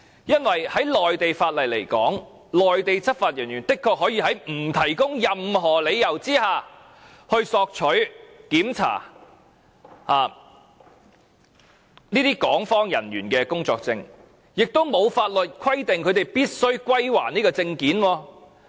因為就內地法律而言，內地執法人員的確可以在不提供任何理由的情況下，索取和檢查港方人員的工作證，亦沒有法律規定他們必須歸還證件。